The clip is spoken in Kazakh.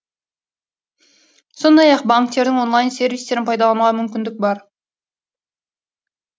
сондай ақ банктердің онлайн сервистерін пайдалануға мүмкіндік бар